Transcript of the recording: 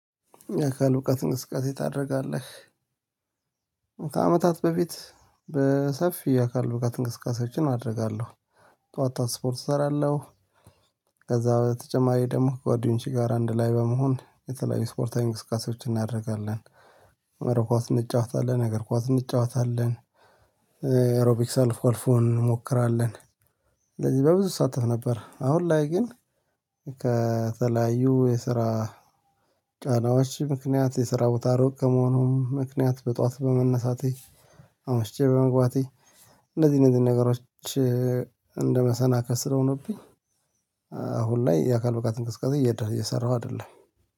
የአካል ብቃትት እንቅስቃሴ ታደርጋለህ? ከአመታት በፊት በሰፊ የአካል ብቃት እንቅስቃሴዎችን አደርጋለሁ ጠዋታ ስፖርት እሰራለሁ። ከዛ በተጨማሪ ደግሞ ከጓደኞቼ ጋር አንድ ላይ በመሆን የተለያዩ ስፖርታዊ እንቅስቃሴዎችን እናደርጋለን። መረብ ኳስ እንጫወታለን እግር ኳስ እንጫወታለን። ኤሮቢክ ሰልፍ ወልፉን እንሞክራለን። ስለዚህ ለብዙ ሰዓት ነበር። አሁን ላይ ግን ከተለያዩ የስራ ጫናዎች ምክንያት የስራ ቦታ ሮቅ ከመሆኑም ምክንያት በጧት በመነሳቴ አምሽቼ በመግባቴ እነዚህ እነዚህ ነገሮች እንደመሰናከስ ስለሆኑብኝ አሁን ላይ የአካል ብቃት እንቅስቃሴ እየሰራሁ አይደለም